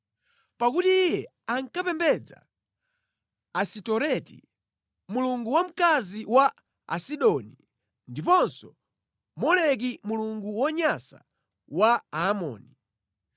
Pakuti iye ankapembedza Asitoreti, mulungu wamkazi wa Asidoni, ndiponso Moleki mulungu wonyansa wa Aamoni.